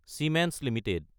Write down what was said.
Siemens Ltd